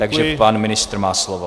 Takže pan ministr má slovo.